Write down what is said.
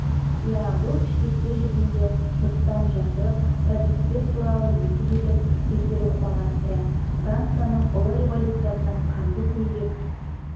иә бұл пішпекте жүргенде жұрттан жасырып робеспьер туралы есі кетіп бекер оқымаған сірә францияның ұлы революциясының қанды көйлек